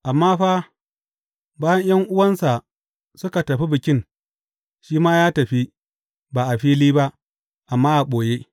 Amma fa, bayan ’yan’uwansa suka tafi Bikin, shi ma ya tafi, ba a fili ba, amma a ɓoye.